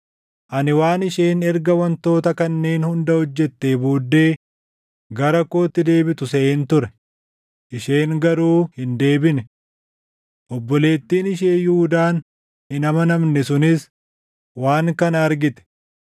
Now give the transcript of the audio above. Ani waan isheen erga wantoota kanneen hunda hojjettee booddee gara kootti deebitu seʼeen ture; isheen garuu hin deebine. Obboleettiin ishee Yihuudaan hin amanamne sunis waan kana argite.